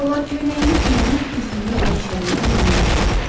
Şalvar köynəyini geyinib güzgünün qəşərində yerini rahatladı.